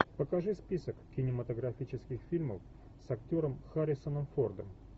покажи список кинематографических фильмов с актером харрисоном фордом